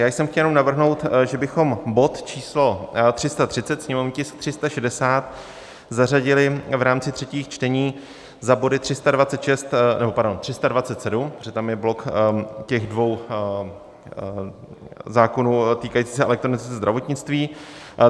Já jsem chtěl jenom navrhnout, že bychom bod číslo 330, sněmovní tisk 360, zařadili v rámci třetích čtení za body 326, nebo pardon, 327, protože tam je blok těch dvou zákonů týkajících se elektronizace zdravotnictví.